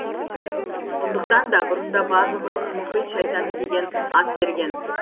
сондықтан да бұрында барлығы оны мұхит шайтаны деген ат берген